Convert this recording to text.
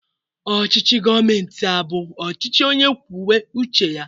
Ọchịchị gọọmenti a abụ ọchịchị onye kwube uche ya?